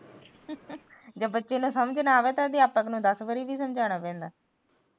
ਜਦ ਬੱਚੇ ਨੂੰ ਸਮਝ ਨਾ ਆਵੇ ਤਾ ਅਧਿਆਪਕ ਨੂੰ ਦਸ ਵਾਰੀ ਵੀ ਸਮਝਾਣਾ ਪੈਂਦਾ